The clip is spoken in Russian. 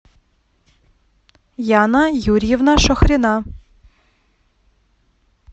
яна юрьевна шахрина